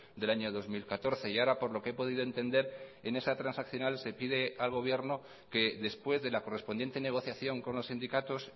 del año dos mil catorce y ahora por lo que he podido entender en esa transaccional se pide al gobierno que después de la correspondiente negociación con los sindicatos